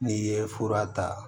N'i ye fura ta